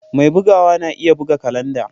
Mai bugawa na iya buga kalanda.